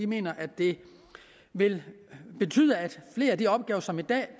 mener at det vil betyde at flere af de opgaver som i dag